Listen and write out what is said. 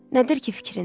Nədir ki fikrin?